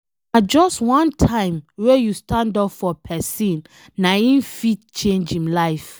Na just one time wey you stand up for pesin, na em fit change em life